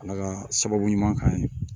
Ala ka sababu ɲuman k'an ye